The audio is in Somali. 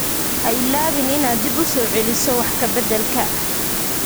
Ha iloobin inaad dib u soo celiso wax ka beddelka